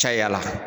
Caya la